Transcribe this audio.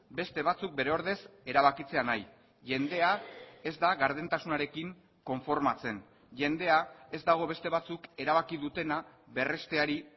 beste batzuk bere ordez erabakitzea nahi jendea ez da gardentasunarekin konformatzen jendea ez dago beste batzuk erabaki dutena berresteari